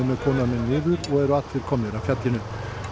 með konuna niður og eru allir komnir af fjallinu